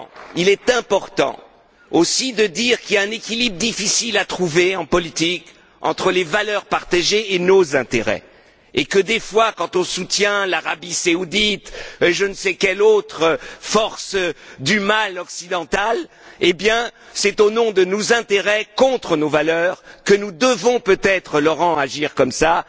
Il est important, aussi, de dire qu'il y a un équilibre difficile à trouver en politique entre les valeurs partagées et nos intérêts et que, parfois, lorsqu'on soutient l'Arabie saoudite ou je ne sais quelle autre force du mal occidentale, c'est au nom de nos intérêts contre nos valeurs, que nous devons peut être, Laurent, agir comme cela.